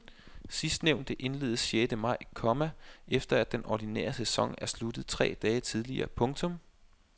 Sidstnævnte indledes sjette maj, komma efter at den ordinære sæson er sluttet tre dage tidligere. punktum